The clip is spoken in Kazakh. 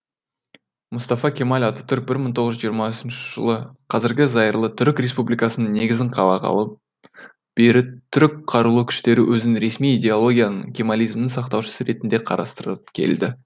мұстафа кемал ататүрік бір мың тоғыз жүз жиырма үш жылы қазіргі зайырлы түрік республикасының негізін қалағалы бері түрік қарулы күштері өзін ресми идеологияның кемализмнің сақтаушысы ретінде қарастырып келді